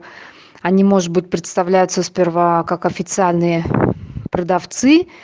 а не может быть представляются сперва как официальные продавцы